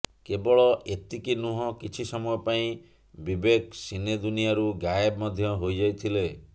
କେବଳ ଏତିକି ନୁହଁ କିଛି ସମୟ ପାଇଁ ବିବେକ ସିନେ ଦୁନିଆରୁ ଗାୟବ ମଧ୍ୟ ହୋଇଯାଇଥିଲେ